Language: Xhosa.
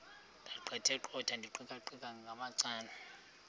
ndaqetheqotha ndiqikaqikeka ngamacala